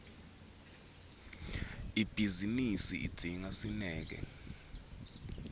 ibhizinisi idzinga sineke